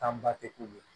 Taa te k'u ye